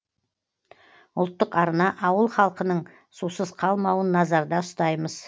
ұлттық арна ауыл халқының сусыз қалмауын назарда ұстаймыз